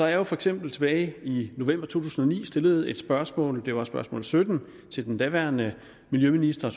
jeg har for eksempel tilbage i november to tusind og ni stillet et spørgsmål det var spørgsmål sytten til den daværende miljøminister